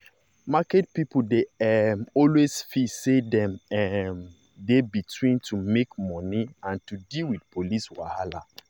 market people dey um always feel say dem um dey between to make money and to deal with police wahala.